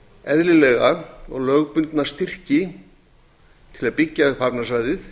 eðlilega og lögbundna styrki til að byggja upp hafnarsvæði